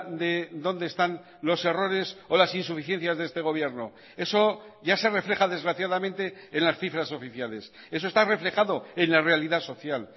de dónde están los errores o las insuficiencias de este gobierno eso ya se refleja desgraciadamente en las cifras oficiales eso está reflejado en la realidad social